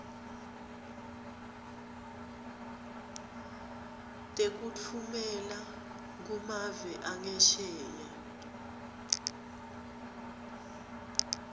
tekutfumela kumave angesheya